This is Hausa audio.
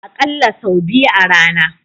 Akalla sau biyu a rana.